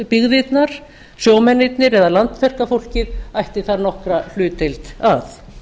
byggðirnar sjómennirnir eða landverkafólkið ætti þar nokkra hlutdeild að